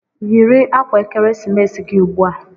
Yiri akwa ekeresimesi gị ugbu a!